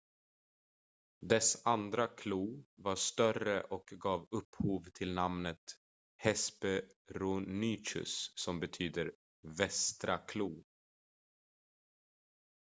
"dess andra klo var större och gav upphov till namnet hesperonychus som betyder "västra klo.""